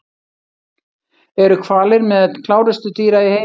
Eru hvalir meðal klárustu dýra í heimi?